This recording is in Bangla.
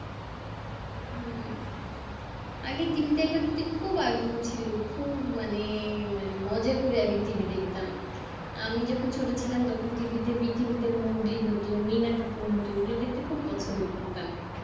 হুম আগে TV তে খুব আগ্রহ ছিল খুব মানে মানে মজা করে আরকি TV দেখতাম, আমি যখন ছোট ছিলাম তখন TV তে মোগলি হতো মিনাকে হেকিম হতো ওগুলো দেখতে খুব পছন্দ করতাম